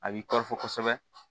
A b'i tɔɔrɔ kosɛbɛ